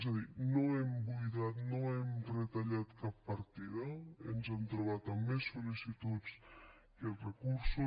és a dir no hem buidat no hem retallat cap partida ens hem trobat amb més sol·licituds que recursos